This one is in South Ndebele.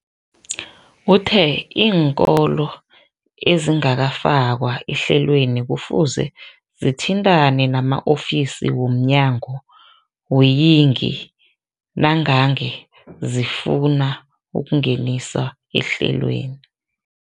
Uthe iinkolo ezingakafakwa ehlelweneli kufuze zithintane nama-ofisi womnyango weeyingi nangange zifuna ukungeniswa ehlelweni.